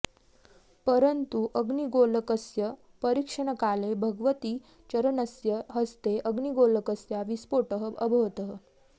परन्तु अग्निगोलकस्य परीक्षणकाले भगवतीचरणस्य हस्ते अग्निगोलकस्य विस्फोटः अभवत्